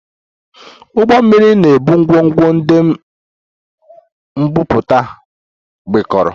Ụgbọ mmiri na-ebu ngwongwo ndị m bubata, mikpuru